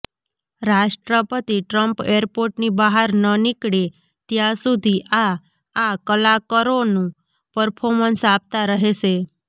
રાષ્ટ્રપતિ ટ્રમ્પ એરપોર્ટની બહાર ન નીકળે ત્યાં સુધી આ આ કલાકરોનું પર્ફોમન્સ આપતા રહેશે